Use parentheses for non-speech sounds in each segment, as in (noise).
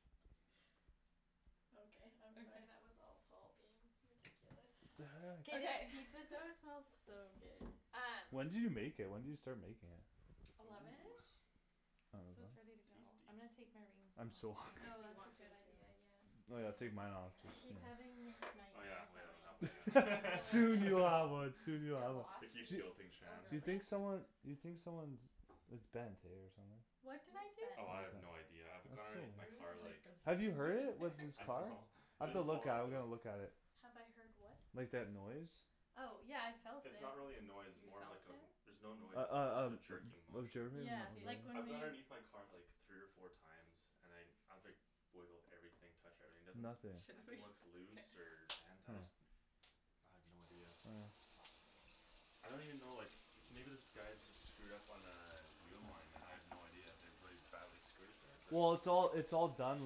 (laughs) Okay I'm sorry that was all Paul being ridiculous What Oh the K heck? this guy- pizza dough smells so good Um When did you make it? When did you start making it? Ooh eleven-ish? So it's ready to go. I'm gonna take my rings Tasty I'm so off, I don't hungry know Oh if you that's want a to good too idea, yeah Oh yeah I'll take mine off, too, I here keep having these Oh yeah, nightmares oh yeah that my engagement I don't ring have one (laughs) will like yet (laughs) Soon get you'll have lost one, soon you'll Get have one lost? I keep Mhm guilting Oh Shan You think really? someone you think someone's it's bent eh, or something What What's did I bent? do? Oh I have no idea, I've That's gone underneath my car so (inaudible) like Have you (inaudible) heard it? With this I car? know (laughs) It I've to doesn't look fall at it, out I've though gotta look at it Have I heard what? Like that noise? Oh, yeah I felt it It's not really a noise, it's You more felt like a it? there's no noise Uh it's just a uh jerking motion uh Yeah, K like (inaudible) when I've gone we- underneath my car like three or four times and I I've like wiggled everything, touched everything, there's Nothing Should we? nothing looks K loose or bent, I Hm just I have no idea Huh (inaudible) I don't even know like, maybe this guy's just screwed up on a wheel line and I have no idea, I have really badly screwed it but Well it's all it's all done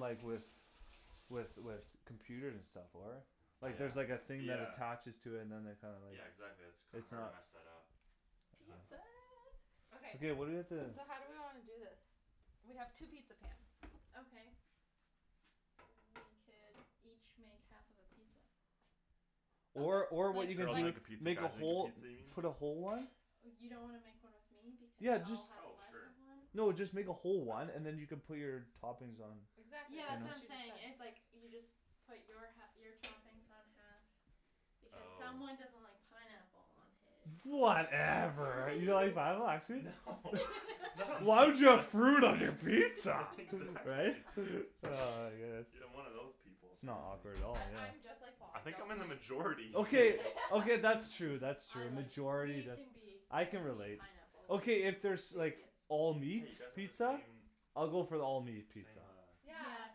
like with with with computers and stuff, for it Like there's like a Yeah, thing that yeah attaches to it and then they kinda like Yeah exactly, that's kinda it's hard to not mess that up I dunno Pizza Okay Okay what do we have to so how do we wanna do this? We have two pizza pans Okay We could each make half of a pizza Or or what you Like could girls do make a (inaudible) pizza, make a guys make a whole pizza, you put a whole mean? one You don't wanna make one with me because Yeah, I'll just have Oh less sure of one? No, just make a whole one and then you can put your toppings on You Exactly, Yeah that's that's what what I'm she was know? saying saying, is like you just put your hal- your toppings on half, because someone Oh doesn't like pineapple on his Whatever You don't like (laughs) pineapple, actually? Why would you have fruit on your pizza? (laughs) Right? Exactly Ah, I (laughs) guess I'm one of those people, sorry S'not awkward dude at all, I- I'm yeah just like Paul, I I think I'm don't in the like majority Okay, okay (laughs) that's true, that's I true, like majority that, I can (inaudible) relate pineapple Okay if there's like, (inaudible) all meat Hey you guys have the pizza? same, same I'll uh (inaudible) go for the all meat pizza Yeah,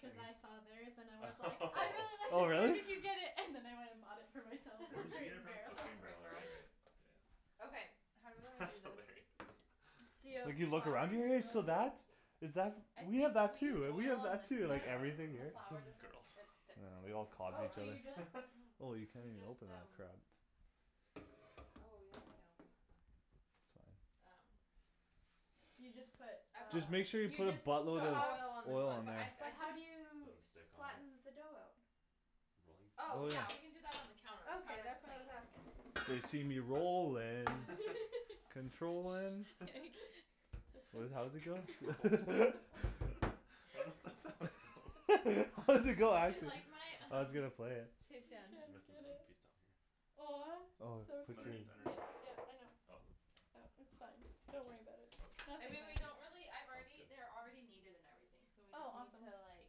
cuz I saw theirs and I was like, I really like (laughs) Oh this where really? did you get it? And then I went and bought it for myself (laughs) Where from did you Crate get it and from? Crate Barrel Oh (laughs) Crate and and Barrel right right Barrel Yeah Okay, how do we wanna That's do hilarious this? (laughs) D'you have (inaudible) you look flour around in here, your? (inaudible) (inaudible) Is that I f- we think have that we use too, we oil have on that this too, one, like Yeah everything the here flour r- doesn't girls, it I sticks yeah know, we when there's all a (inaudible) Oh, flour on so you it each just other Oh you can't You even just, open that um crap Oh yeah, we can't open that. Okay It's fine Um So you just put uh, Just make sure you you put a just so So buttload of oil on this oil one all on but there I've I but how do you just Don't s- stick on it? flatten the dough out? Rolling? Oh Oh yeah yeah, we (inaudible) can do that on the counter, the Okay, counter's that's what clean I was asking They see me rollin', controllin' (laughs) Shh What does it how Controllin'? does (laughs) it go? (laughs) I don't th- that's how it (laughs) goes (laughs) How does it go, Do you actually? like my, I was um, gonna play it He can't Rest of it get (inaudible) one it piece down here Aw. Oh, So From put cute, underneath, underneath? yeah yeah I (inaudible) know Oh Oh, k It's fine, don't worry about it I Nothing mean Okay, we matters don't really I've sounds already they're good already kneaded and everything, so we Oh just need awesome to like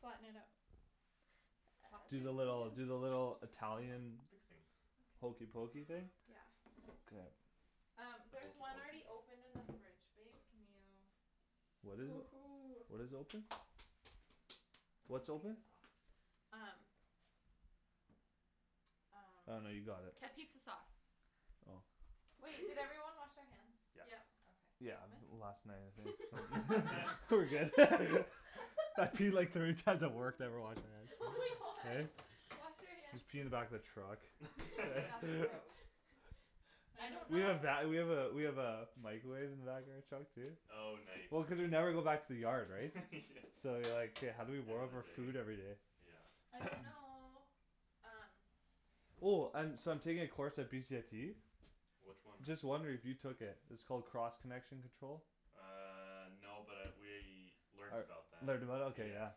Flatten it out Toss Do the little it do the (inaudible) little Italian Fixing hokey Okay pokey thing? Yeah K Um, The there's hokey one already pokey? open in the fridge, babe, can you What is it? Woohoo. What is open? What's open? Um Um, Oh no you got it capizza sauce Oh Wait, did everyone wash (laughs) their hands? Yes Yep Yeah, Okay. Thomas? last night I think (laughs) We're (laughs) good (laughs) I peed like (laughs) thirty times at work, never washed Oh my my hands, god, eh? (laughs) wash your hands please Just pee in the back of the truck K, that's (laughs) gross (laughs) I don't We know have va- we have a we have a microwave in the back of our truck too Oh nice Well cuz we never go back to the yard, right? (laughs) So like, Yeah how do we warm up our Everyday, food everyday? yeah I don't know, um Oh um so I'm taking a course at BCIT? Which one? Just wondering if you took it, it's called cross connection control? Uh no, but I we learned about that, Learned about it? Ok yeah yeah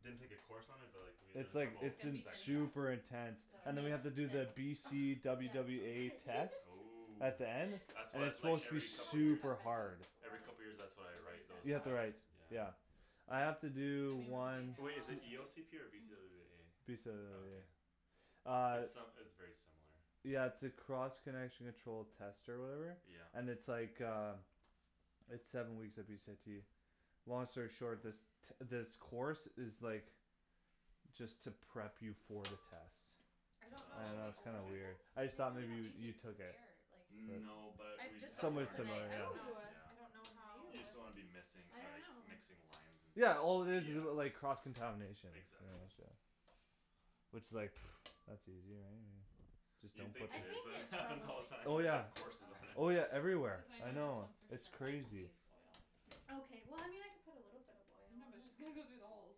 Didn't take a course on it but like we had It's like, It's it's gonna in be thin to crust super (inaudible) intense (inaudible) Ugh And then Is we have to that do the ok? B Thin C crust W yeah it's W totally A great (laughs) test. Ooh At the end. That's And wha- it's it's like supposed Hey, to be we every should (inaudible) like couple years this, super hard or Every like, couple years that's what I cuz they're write, just those You have tests? gonna to write, (inaudible) Yeah yeah I Yeah have to I do mean (inaudible) one Wai- is it E anyways O C P or B C W W Mm. B A? Okay (inaudible) Uh It's uh it's very similar Yeah it's a cross connection control test or whatever? Yeah And it's like uh It's seven weeks at BCIT Long story short, this t- this course is like, just to prep you for the test I don't know, And should we Oh. that's kinda oil weird I this? okay just They thought do it maybe on you you YouTube so took it's it air, like No, but I've we just had bought to Somewhat this learn that, how to similar, today, I do yeah don't know, that, Ooh I don't know yeah how Ew, You just don't wanna be missing I uh dunno mixing lines and stuff, Yeah, all it is is like, cross yeah contamination Exactly (inaudible) Which is like, (noise) that's easy right, I mean Just You'd don't put think I it is, think but it it's happens (inaudible) all the probably time Oh which is we yeah, have (inaudible) courses on it oh Okay, yeah everywhere, cuz I I know this know, one for it's sure crazy needs oil Okay well I mean I can put a little bit of oil No on but it just gonna go through the holes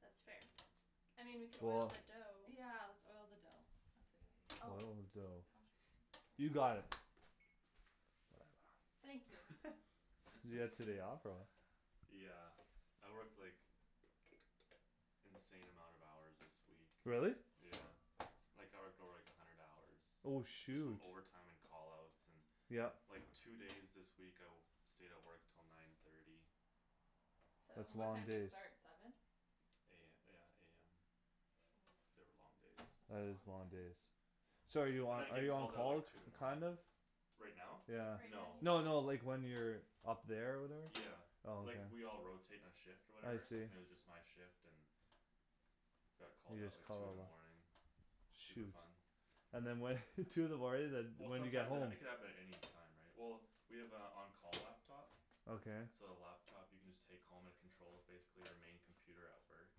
That's fair I mean we could oil Cool the dough Yeah, let's oil the dough. That's a good idea. Oh, Oil the dough how should You got we (inaudible) it Whatever. Thank you (laughs) Did you get today off, or what? (laughs) Yeah, I worked like, insane amount of hours this week Really? Yeah, like I would go like a hundred hours Oh Just from shoot overtime and call outs, and Yep like two days this week I w- stayed at work till nine thirty That's And what long time So do you days start, seven? A- yeah, AM. Mm, They were long days that's a That is long long day days So are you I'm on gonna are get you on called out call, like t- two in the morning kind of? Right now? Yeah Right No now No no, he's like when (inaudible) you're up there or whatever? Yeah, Oh okay like we all rotate our shift or I whatever, see and it was just my shift and Got called You out just like call two in a the lot morning, super Shoot fun And then what (laughs) two in the morning then Well when do you get sometimes it home? it could happen at any time, right? Well, we have a on call laptop Okay So the laptop you can just take home and it controls basically our main computer at work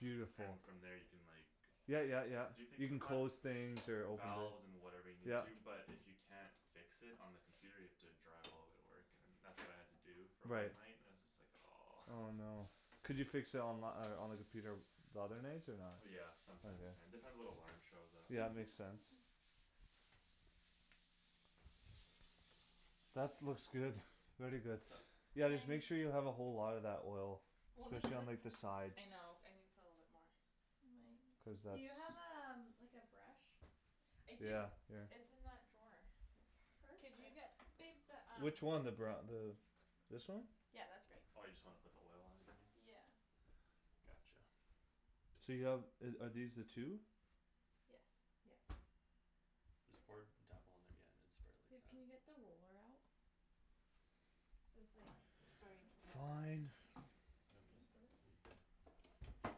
Beautiful And from there you can like, Yeah yeah yeah, do things you can from close things or (inaudible) open Valves and (inaudible) whatever you need Yeah to, but if you can't fix it on the computer you have to drive all way to work and that's what I had to do for one Right night, it was just like aw Oh no Could you fix it onli- on the computer the other nights, or not? Yeah, sometimes you can, depends what alarm shows up Yeah, makes sense (noise) That's looks good, very good What's up? Yeah just make Thanks sure you have a whole lotta that oil, Well this specially on like the this, sides I know, I needa put a little bit more Cuz (inaudible) Do that's you have a um- like a brush? I do, Yeah, here it's in that drawer Could Perfect you get babe the um Which one, the bru- the, this one? Yeah, that's great Oh you just wanna put the oil on even? Yeah Gotcha So you have uh are these the two? Yes Yes This part, tap on that yeah, then spread it like Babe, that can you get the roller out? So it's like, starting to rip a Fine bit You want me to spread it, or I'm you good?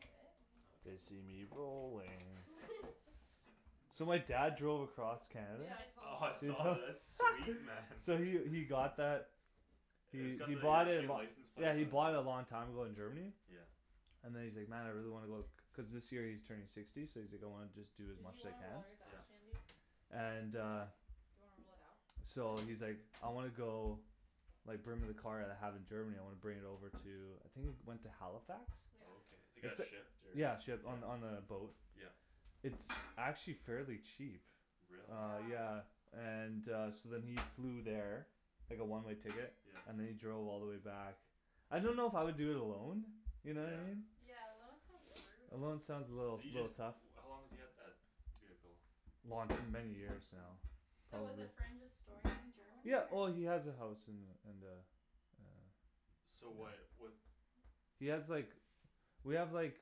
good Okay They see me (noise) rolling (laughs) So my dad drove across Canada Yeah, I told them. Oh I saw that, that's sweet man Yeah we we got that, (inaudible) we we bought it lo- license plate yeah we bought it a long time (inaudible) ago in Germany Yeah And then he's like, man I really wanna go, cuz this year he's turning sixty so he's like going just do as Did much you as he wanna can roll yours out, Yeah Shandy? And Do I uh what? Do you wanna roll it out? So Nope he's like, I wanna go, like bring my car that I have in Germany, I wanna bring it over to, I think it went to Halifax? Okay, Yeah it got shipped or, yeah Yeah, shipped on on a boat Yeah It's actually fairly cheap Really? Uh Yeah yeah, and uh so then he flew there Like a one-way ticket, Yeah and then he drove all the way back I don't know if I would do it alone, you know? Yeah Yeah, alone sounds brutal Alone sounds a little, Do you little just tough how long does he have that vehicle? Long- many years now, So Mm. was a probably friend just storing it in Germany Yeah, well he or? has a house in the in the uh So why'd what He has like we have like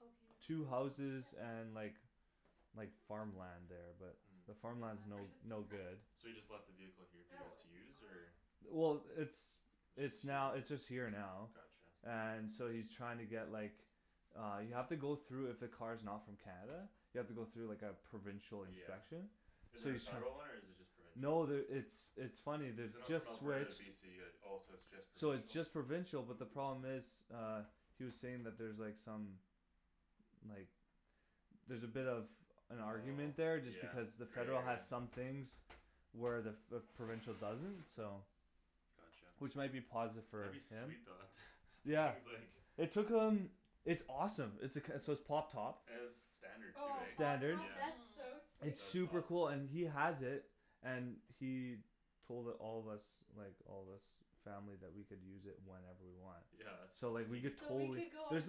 Oh can you move two that to houses the back? Yeah and like like farmland there, but the The farmland's Mhm. no batter's just no good So he perf- (laughs) just left the vehicle here for you Oh, guys to it's use, or fine Well, it's it's now it's just Just here? here now Gotcha And so he's trying to get like, uh you have to go though if a car's not from Canada, you have to go through like a provincial Yeah inspection Is So there a he's tr- federal one or is it just No, provincial? there it's it's funny, there's So a not just from Alberta to switched BC, it oh it's just So it's just provincial? provincial, but the Ooh problem is uh, he was saying that's there like some like, there's a bit of an argument Oh there just yeah, because the federal there has is some things where the- f- the provincial doesn't, so Gotcha Which might be positive for That'd be like sweet though, that him th- Yeah, he's like it took him, it's awesome, it's a c- so it's pop top It's standard too, Oh, right? pop Standard. top? Yeah That's so Mm sweet That's It's awesome super cool and he has it And he told it- all of us, like all us family that we could use it whenever we want Yeah that's So like we sweet could So we could totally go on there's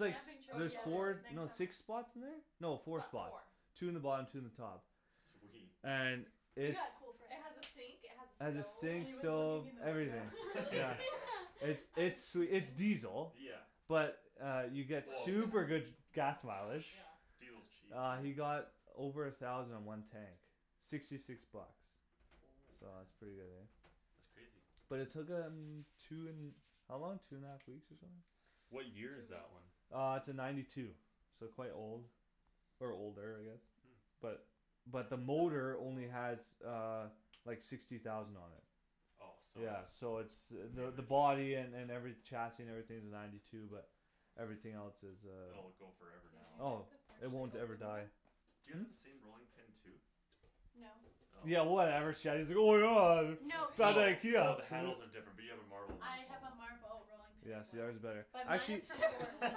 like s- trip Oh there's together four, totally next no summer six spots in there? No Fo- four spots, four two in the bottom two in the top Sweet And it's Yeah, cool friends It has a sink, it has It a has a stove And sink, he was looking stove, in the Oh everything, window really? yeah (laughs) It's (laughs) (laughs) Yeah (inaudible) it's it's diesel, Yeah but uh you (inaudible) get Well super good gas mileage Yeah Diesel's cheap, Uh dude you got over a thousand in one tank, sixty six bucks Oh, So that's man. pretty good eh That's crazy Well it took him, two n- how long, two and a half weeks or something? Two What year is weeks that one? Uh it's a ninety two, so quite old Or older, I guess Hmm But but the That's so motor old only has uh like sixty thousand on it Oh so Yeah so it's it's the the new-ish body an- and every chassis and everything's ninety two but everything else is uh Oh, it go Did you forever Oh, now get the (inaudible) it won't ever open? die (inaudible) Do you all have the same rolling pin too? No Oh Yeah (inaudible) From No, No. I oh IKEA the handles are different, we have a marble one as have a well marble rolling pin Yeah, as well yours is better. But I mine can't is from Portland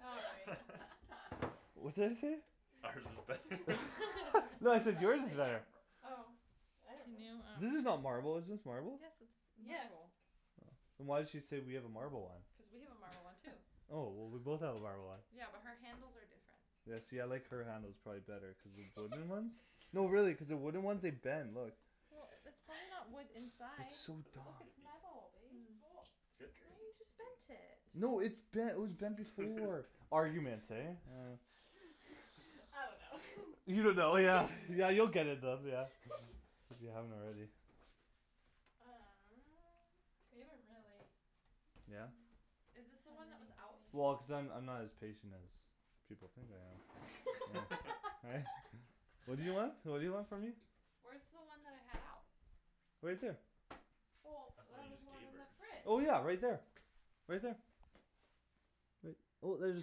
All right What's that you say? Ours is better (laughs) (inaudible) No I (laughs) said yours is better Yapper Oh I don't know Yours is not marble, is this Yes it's marble? Yes marble Oh. Then why'd she say we have a marble Cuz one? we have a marble one too Oh, well we both have a marble one Yeah, but her handles are different Yeah see I like her handles probably better cuz the wooden ones (laughs) no really cuz the wooden ones, they bend, (laughs) look Well, that's probably not wood (laughs) inside, It's so look it's metal (inaudible) babe Oh, Mm why you Great just bent it No it's bent it was bent (laughs) before It's Arguments, bent eh? Uh (laughs) I don't know You don't know, yeah yeah you'll get it bent yeah, if you (laughs) if you haven't already Uh We haven't really Yeah? Is this the How one that was are out? we Well going cuz I'm I'm not to as patient as people think I am Yeah, right? What do you want? (laughs) (laughs) What do you want from me? Where's the one that I had out? Right there Well, That's the one there you was just one gave in her the fridge Well yeah right there, right there Right well there's the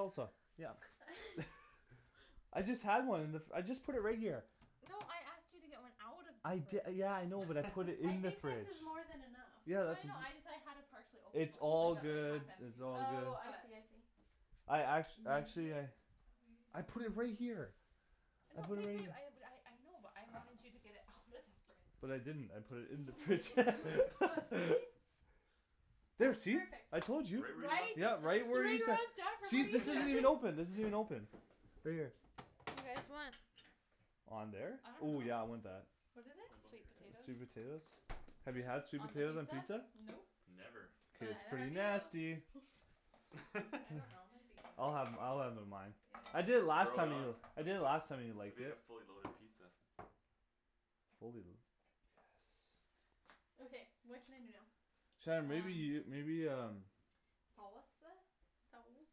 salsa, yeah (laughs) I just had one in the f- I just put it right here No, I asked you to get one out of I the di- fridge yeah I know, but I put it I in the think this fridge (laughs) is more than enough Yeah, No I that's it- know, ju- I just- I had a partially open it's one, all like a like good, half it's empty one, all good Oh I but see I see I act- actually Maybe I I put oh wait it right here I No, put it babe right babe, here I had a I know, but I wanted you to get it out of the fridge But I didn't, I put it in the You put it fridge in the fridge. Well (laughs) see? Oh, There see, perfect I told you! Right where you Right? left it Yeah, Three right, where you ta- rows down from where see this isn't even you (inaudible) open, this isn't even open Right here Do you guys want On there? I don't Ooh yeah know I want that What is it? Sweet potatoes Sweet (inaudible) potatoes? Have you had sweet On the potatoes on pizza? pizza? Nope Never K. But It's neither pretty (inaudible) have you nasty (laughs) I don't know, might be I'll good have I'll have it on mine I Yeah did I last Load it time know you do it, on, (inaudible) I did it last time and I liked make a it fully loaded pizza Fully lu- yes Okay, what can I do now Shan, maybe you, maybe um Um. Saus- uh? Sauce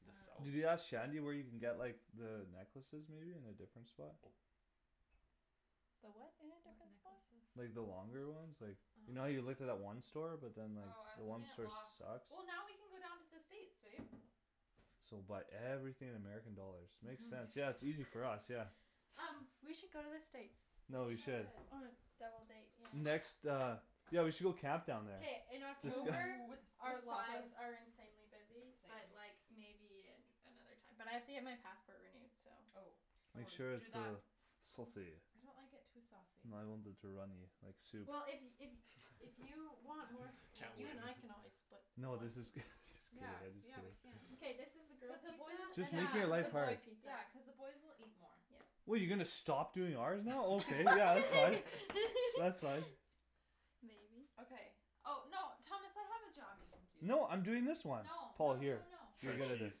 The sauce Did you ask Shandy where you can get like the necklaces maybe in a different spot? Oh. The what in a What different spot? Like the necklaces? longer ones like, you know how you looked at uh-huh that one store but then like, Oh, I the was one looking at store Loft sucks? Well now we can go down to the States, babe So buy everything in American dollars, makes sense, yeah Mhm it's easier for us, yeah Um, we should go to the States We No, we should should On a double date, yeah Next uh, yeah we should go camp down there K, in October Ooh, with (inaudible) our our lies lives are insanely busy but like, maybe another time But I have to get my passport renewed so Oh, oh Make sure do it's that uh, saucy I don't like it too (inaudible) saucy too runny, like soup Well if if if you (laughs) want more (laughs) s- Can't you and win I can always split No this is good, this is good Yea, yeah we can K, I this is the Yeah, just (inaudible) girls cuz pizza, and Just make then this is the boy it pizza (inaudible) the boys will eat more Yeah What you gonna stop doing ours now? Okay yeah, you can. (laughs) That's right (laughs) (laughs) Maybe Okay oh, no Thomas I have a job you can do No I'm doing this one No, Paul no here no no (inaudible) Shred cheese,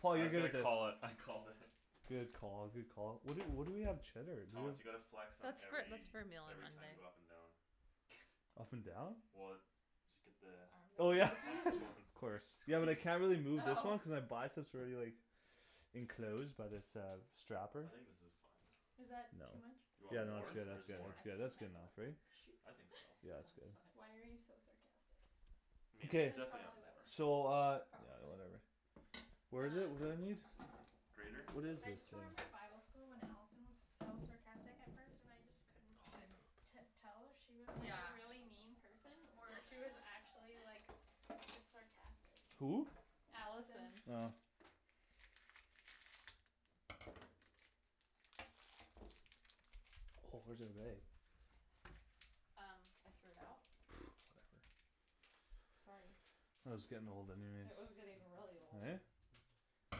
Tom I was gonna call it, I called it Good call, good call. Where do- where do we have cheddar? Do we Thomas you gotta flex on That's for- that's every, for meal on every time you Monday go up and down (inaudible) and down? Well, just get the Oh yeah Armband? (laughs) optimum Of (inaudible) (laughs) course. Yeah well squeeze I can't really move this Oh one cuz I buy it so it's already like enclosed by this uh strapper I think this is fine Is No, that No. too much? you Way too much, Yeah I want no no- that's more? good that's (inaudible) good more that's I good can't that's good handle enough, it right? Shoot. I think so. (laughs) Yeah it's good Sounds (laughs) Why fine are you so sarcastic? Meat, Good, That's definitely probably why we're add so uh, more friends Probably yeah, whatever. Um (inaudible) Grater? What is I this just thing? remembered bible school when Allison was so sarcastic at first and I just couldn't- Didn't t- tell if she was like a Yeah really mean person or if she was actually like, (laughs) just sarcastic Who? Allison Allison Oh Oh where's (inaudible) Um, I threw it out? (noise) Whatever Sorry It was getting old anyways It was getting really old Eh? It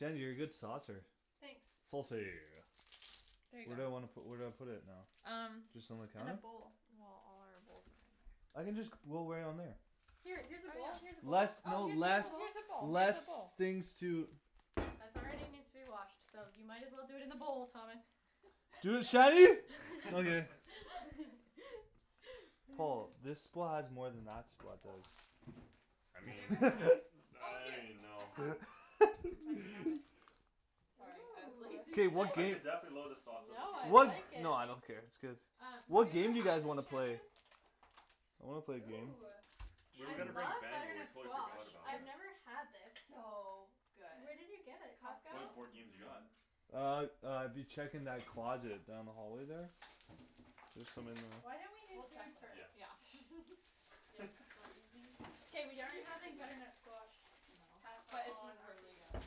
was like you're a good saucer Thanks Saucy There you Where do I go wanna pu- where do I put it now? Um Just on the In a counter? bowl Well all our bowls are in there I can just c- roll right on there Here, here's a bowl, Oh here's a yeah bowl oh Less no here's a less, bowl, (inaudible) here's a less things to bowl. That's already needs to be washed, so you might as well do it in the bowl, Thomas Dude, Shandy? Okay (laughs) (laughs) (laughs) Wa I Have you ever mean, had this? (laughs) Oh I don't here, even I know have, if I can grab it (laughs) Sorry, I was lazy K, today what Ooh I game? could definitely load the sauce up No if you I want What more like it Uh, have you What ever game do you had guys this, wanna play? Shandryn? I wanna play a game Ooh, Where we I gonna bring (inaudible) love we butternut totally squash, forgot about I've it never had this It's so good Where did you get it, Costco? What Costco, board games you got? mhm Uh, uh dude check in that closet, down the hallway there? There's some in Why don't we there do We'll check food first? Yeah later, yeah (laughs) K we aren't having butternut squash No, pasta but it's on our really pizza good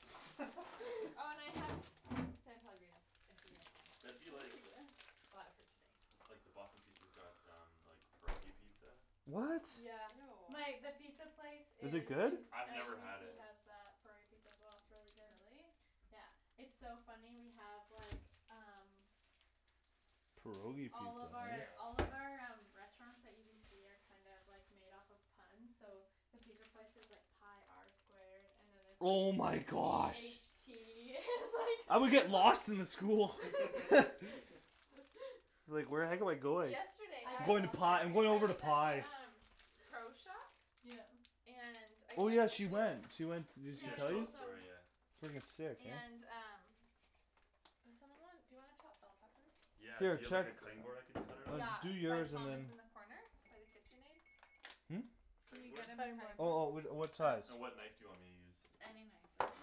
(laughs) Oh and I have San Pellegrino, if you guys want That'd be like, it Ooh Bought it for you today, so like the Boston Pizza's got um, pierogi pizza What? My- the Ew pizza place Is it in good? I've never had UBC it has a curry pizza as well, it's really good Really? Yeah, it's so funny we have like, um Pierogi All pizza of our (noise) all of Yeah our um restaurants at UBC are kind of like made off of puns, so the pizza place is like pi R squared, and then it's like Oh my p h gosh tea (laughs) I would and get lost in the school like (laughs) (laughs) (laughs) Like where the heck am I going? Yesterday I'm I going to pi, I'm going I over to was at pi the um Pro shop? Yeah And I Oh yeah, had she went, she to went s- did she Yeah Yeah, I she tell told you? us told the them story, yeah Frigging sick, And man um Does someone want dou you wanna chop bell peppers? Yeah, do Here, you have like check a cutting board I could cut it on? Yeah, Like, do by yours and Thomas then in the corner? By the KitchenAid? Hm? Can Cutting you board? get him my cutting Oh oh board? whi- uh, what size? Um And what knife do you want me to use? Any knife, doesn't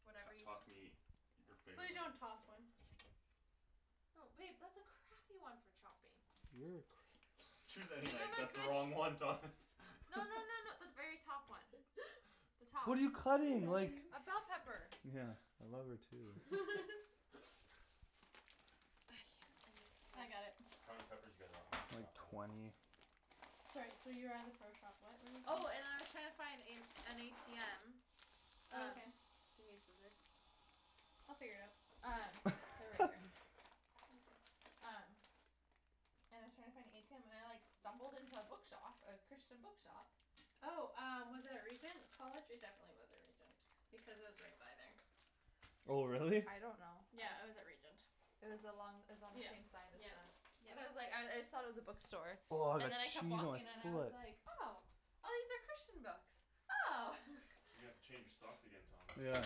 matter T- Whatever you toss me your Please, favorite one don't toss one No babe, that's a crappy one for chopping You're a cra- Choose any Give knife, him a that's the good, wrong no one Thomas no no no the very (laughs) top one The top What are you cutting? Like A bell pepper Yeah, I love her too (laughs) (laughs) I can't, I I got need (inaudible) it How many peppers do you guys want me to Like chop up? twenty Sorry so you were at the pro shop, what were you saying Oh and I was trying to find in an ATM Oh Um, okay do you need scissors They'll figure it out Um, they're right here (laughs) Um And I was trying to find a ATM and I like stumbled into a bookshop, a Christian bookshop Oh um, was it at Regent College? It definitely wasn't Regent, because I was right by there Oh really? I don't know Yeah, I was at Regent It was along, it was on the same Yep, side as yep, the, but I was like, I I yep thought it was a bookstore, Aw, and that then I kept cheese walking and I was on like, (inaudible) oh, these are Christian books! Oh! You gotta change your socks again, Thomas Yeah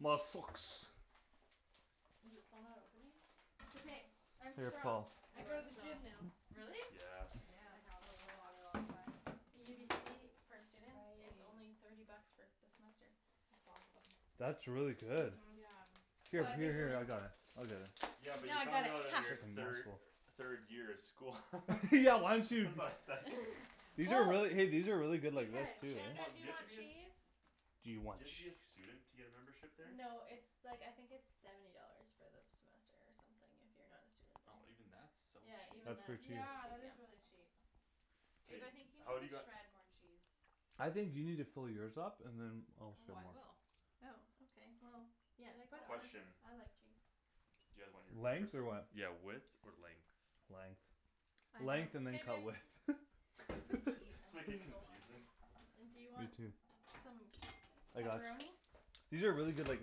My socks Is it still not opening? It's okay, I'm Here strong, Paul I You go are to the strong. gym now Really? Yes Yeah, I a haven't gone in a lot really long time UBC, for students, it's Awesome only Right thirty bucks for s- the semester That's awesome That's really good Mhm Yeah Here, What? here here I got it, I'll (inaudible) get it Yeah but No you I got found it, out in hah your thir- third year of school (laughs) (laughs) Yeah why don't That's you why was like These are really, hey Oh these are really good like veg Because too, Hold Shandryn, on, do do you you have to want be a eh s- cheese? Do Do you want you have to be a cheese? student to get a membership there? No it's like I think it's seventy dollars for the semester or something if you're not a student there Oh even that's so Yeah, cheap even That's that pretty cheap Yeah, that is really (inaudible) cheap Babe K, I think you need how'd you to got shred more cheese I think you need to fill yours up, and then Oh I will (inaudible) Oh ok well, Yeah, yeah, put it Question (inaudible) I on like cheese Do you guys want your Length? peppers, Or what yeah width or length? Length Length and then K, cut babe (inaudible) width (laughs) I need to eat, (laughs) (laughs) Just I'm make like it so confusing hungry And do you You want too some I got ch- pepperoni? These are really good like